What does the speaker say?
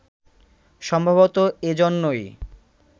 সম্ভবতঃ এই জন্যই